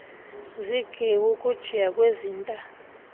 zigeawu ukujiya kwezinta